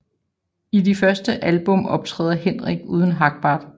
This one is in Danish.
I de første album optræder Henrik uden Hagbart